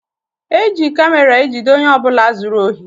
Eji kamera ejide ọnye ọbula zụrụ ohi.